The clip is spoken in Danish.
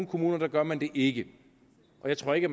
kommuner gør man det ikke og jeg tror ikke